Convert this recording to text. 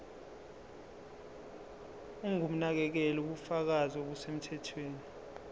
ongumnakekeli ubufakazi obusemthethweni